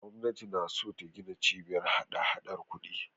Gwamnati na so ta gina Cibiyar hadahadar kuɗi.